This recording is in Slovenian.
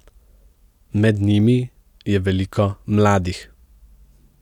Med njimi je veliko mladih.